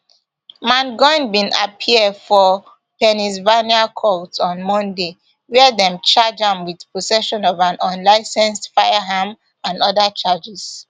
mangione bin appear for pennsylvania court on monday wia dem charge am wit possession of an unlicensed firearm and oda charges